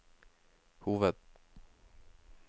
hoved